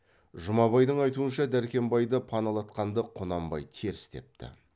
жұмабайдың айтуынша дәркембайды паналатқанды құнанбай теріс депті